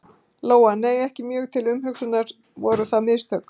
Lóa: Nei, ekki mjög til umhugsunar, voru það mistök?